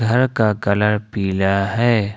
घर का कलर पीला है।